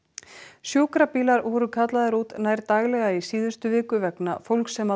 sjúkrabílar voru kallaðir út nær daglega í síðustu viku vegna fólks sem